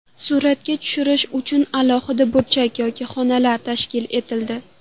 Suratga tushirish uchun alohida burchak yoki xonalar tashkil etildi.